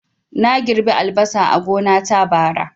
Na girɓi albasa a gona ta, bara